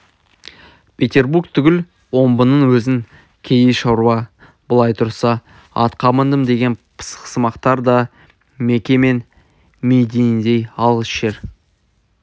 петербург түгіл омбының өзін кедей шаруа былай тұрсын атқа міндім деген пысықсымақтар да меке мен мединедей алыс жер